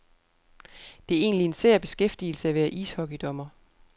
Det er egentlig en sær beskæftigelse at være ishockeydommer.